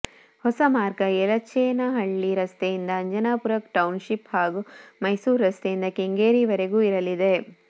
ಹೊಸ ಮಾರ್ಗ ಯೆಲಚೇನಹಳ್ಳಿ ರಸ್ತೆಯಿಂದ ಅಂಜನಾಪುರ ಟೌನ್ ಶಿಪ್ ಹಾಗೂ ಮೈಸೂರು ರಸ್ತೆಯಿಂದ ಕೆಂಗೇರಿ ವರೆಗೂ ಇರಲಿದೆ